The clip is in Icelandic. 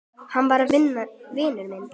Hann er vinur minn.